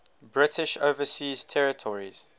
british overseas territories